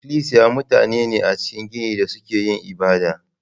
Ikilisiya mutane ne a cikin gini da suke yin ibada.